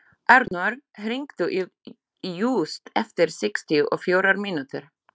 Arnór, hringdu í Júst eftir sextíu og fjórar mínútur.